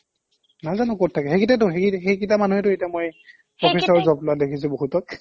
নাজানো ক'ত থাকে সেইকেইটাইটো সেইকেইটা মানুহেটো এতিয়া মই professor job লোৱা দেখিছো বহুতক